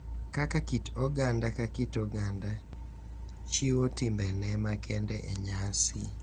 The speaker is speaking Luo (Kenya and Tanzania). Kaka kit oganda ka kit oganda chiwo timbene makende e nyasi.